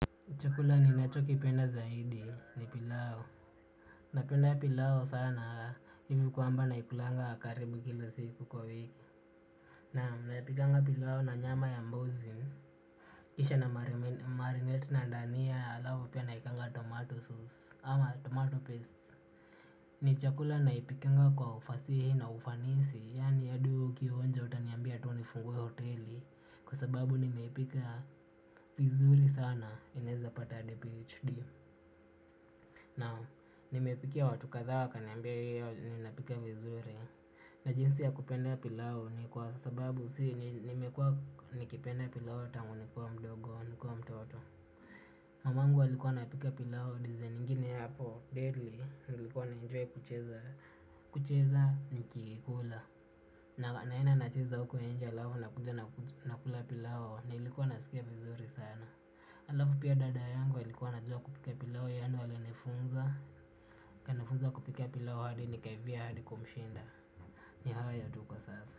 Chakula ni nacho kipenda zaidi ni pilau. Napenda pilau sana hivi kwamba naikulanga karibu kila siku kwa wiki. Naam naipikanga pilau na nyama ya mbuzi. Kisha na marinate na dania alafu pia naekanga tomato sauce ama tomato paste. Ni chakula naipikanga kwa ufasihi na ufanisi yaani yadi wewe uki onja utaniambia tu nifungwe hoteli kwa sababu nimeipika. Vizuri sana, ninaweza pata hadi PHD. Naam nimepikia watu kadhaa wakaniambia huwa ninapika vizuri. Najinsi ya kupenda pilau ni kwa sababu nimekua nikipenda pilau tangu nikuwa mdogo nikiwa mtoto. Mamangu alikua anapika pilau design ingine hapo deadly, nilikuwa na enjoy kucheza nikikula na naenda nacheza huko nje alafu nakuja nakula pilau. Nilikuwa nasikia vizuri sana. Alafu pia dada yangu alikua anajua kupika piau, yeye ndiye alinifunza ni hayo tu kwa sasa.